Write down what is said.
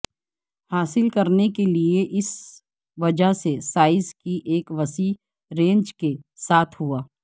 حاصل کرنے کے لئے اس وجہ سے سائز کی ایک وسیع رینج کے ساتھ ہوا